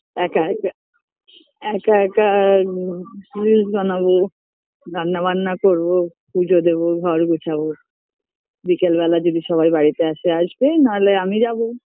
একা একা একা একা আম reels বানাবো রান্না বান্না করবো পূজো দেবো ঘর গুছাবো বিকেল বেলা যদি সবাই বাড়িতে আসে আসবে না হলে আমি যাবো